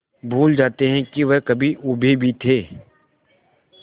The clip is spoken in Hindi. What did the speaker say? भूल जाते हैं कि वह कभी ऊबे भी थे